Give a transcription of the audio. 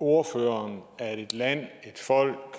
ordføreren at et land et folk